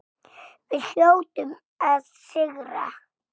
Við hljótum að sigra